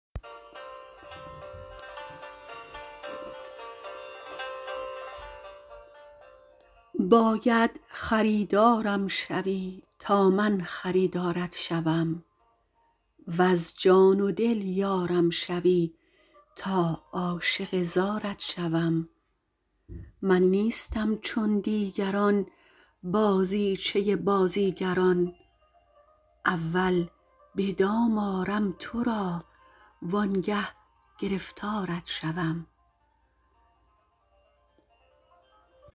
باید خریدارم شوی تا من خریدارت شوم وز جان و دل یارم شوی تا عاشق زارت شوم من نیستم چون دیگران بازیچه بازیگران اول به دام آرم ترا و آنگه گرفتارت شوم